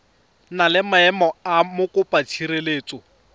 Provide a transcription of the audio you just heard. na le maemo a mokopatshireletso